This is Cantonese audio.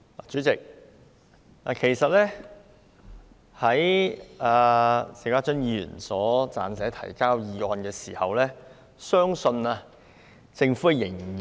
主席，在邵家臻議員提交這項議案時，相信政府仍未如此......